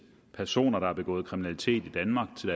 personer der har begået kriminalitet i danmark til